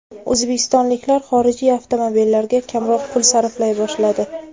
O‘zbekistonliklar xorijiy avtomobillarga kamroq pul sarflay boshladi.